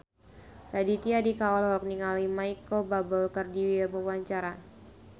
Raditya Dika olohok ningali Micheal Bubble keur diwawancara